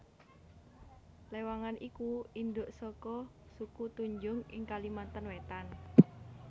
Lewangan iku indhuk saka suku Tunjung ing Kalimantan Wétan